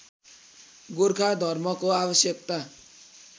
गोर्खा धर्मको आवश्यकता